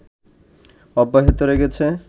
অব্যাহত রেখেছে